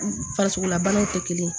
Farisokola banaw tɛ kelen ye